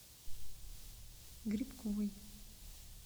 грибковой